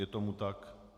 Je tomu tak.